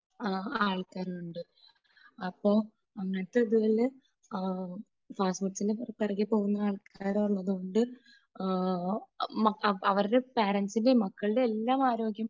ആൾക്കാരും ഉണ്ട്. അപ്പോ അങ്ങനത്തെ ഇതില് ആഹ് ഫാസ്റ്റ് ഫുഡ്സിൻറെ പുറകെ പോകുന്ന ആൾക്കാര് ഉള്ളതുകൊണ്ട് ആഹ് അവരുടെ പാറൻസിന്റെയും മക്കളുടെയും എല്ലാം ആരോഗ്യം